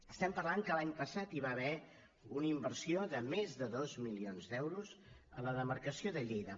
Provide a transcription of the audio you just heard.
estem parlant que l’any passat hi va haver una inversió de més de dos milions d’euros a la demarcació de lleida